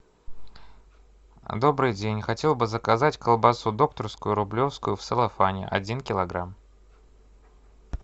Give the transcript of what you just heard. добрый день хотел бы заказать колбасу докторскую рублевскую в целлофане один килограмм